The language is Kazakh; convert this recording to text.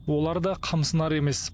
олар да қымсынар емес